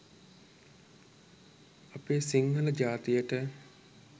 අපේ සිංහල ජාතියට